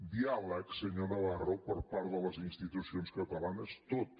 diàleg senyor navarro per part de les institucions catalanes tot